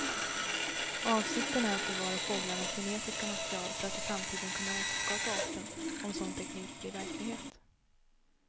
Avsikten är att bevara fåglarnas genetiska material för att i framtiden kunna återskapa arten om sådan teknik blir verklighet.